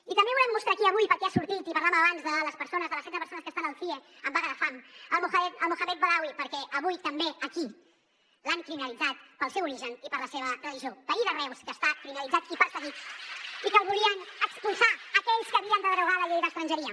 i també volem mostrar aquí avui perquè ha sortit i parlàvem abans de les persones de les setze persones que estan al cie en vaga de fam el mohamed badaoui perquè avui també aquí l’han criminalitzat pel seu origen i per la seva religió veí de reus que està criminalitzat i perseguit i que el volien expulsar aquells que havien de derogar la llei d’estrangeria